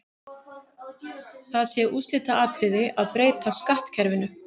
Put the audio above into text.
Það sé úrslitaatriði að breyta skattkerfinu.